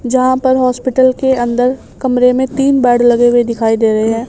जहां पर हॉस्पिटल के अंदर कमरे में तीन बेड लगे हुए दिखाई दे रहे हैं।